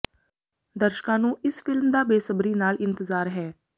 ਦਰਸ਼ਕਾਂ ਨੂੰ ਇਸ ਫ਼ਿਲਮ ਦਾ ਬੇਸਬਰੀ ਨਾਲ ਇੰਤਜ਼ਾਰ ਹੈ